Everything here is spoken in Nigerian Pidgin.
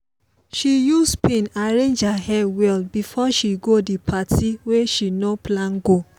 she use pin arrange her hair well before she go the party wey she no plan go.